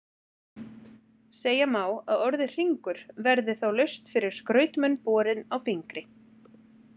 Segja má að orðið hringur verði þá laust fyrir skrautmun borinn á fingri.